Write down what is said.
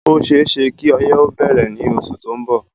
Ó séeésé kí ọyé ó bẹ̀rẹ̀ ní oṣù tó ń bọ̀